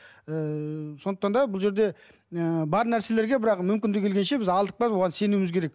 ыыы сондықтан да бұл жерде ы бар нәрселерге бірақ мүмкіндігі келгенше алдық па оған сенуіміз керек